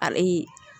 Aliyi